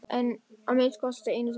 En, að minnsta kosti einu sinni.